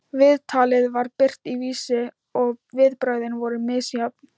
Viðtalið var birt í Vísi og viðbrögðin voru misjöfn.